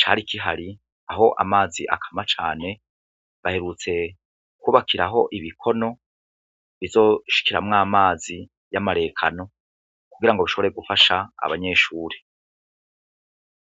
cari kihari, aho amazi akama cane, baherutse kubakiraho ibikono bizoshikiramwo amazi y'amarekano kugira ngo ashobore gufasha abanyeshure.